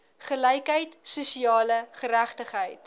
gelykheid sosiale geregtigheid